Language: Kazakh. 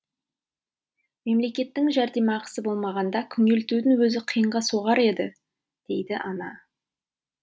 мемлекеттің жәрдемақысы болмағанда күнелтудің өзі қиынға соғар еді дейді ана